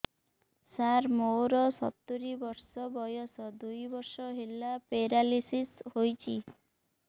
ସାର ମୋର ସତୂରୀ ବର୍ଷ ବୟସ ଦୁଇ ବର୍ଷ ହେଲା ପେରାଲିଶିଶ ହେଇଚି